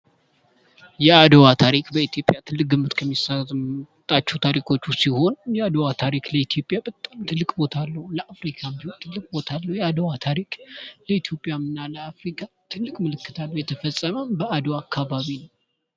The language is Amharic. የአድዋ ታሪክ በኢትዮጵያ ትልቅነት ከሚሰጣቸው በዓሎች ታሪኮች ውስጥ ይሆን የአድዋ ታሪክ ለኢትዮጵያ በጣም ትልቅ ቦታ ለአፍሪካም ትልቅ ቦታ አለው የአድዋ ታሪክ ለኢትዮጵያ እና ለአፍሪካ ትልቅ ምልክት አለው የተፈፀመውም